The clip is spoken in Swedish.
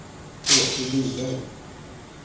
Åke Wiberg